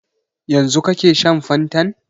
Yanzu kake shan fantan?